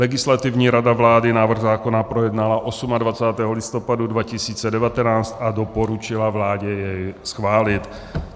Legislativní rada vlády návrh zákona projednala 28. listopadu 2019 a doporučila vládě jej schválit.